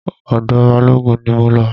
Ọ̀dọ̀ Balógun ni mo lọ.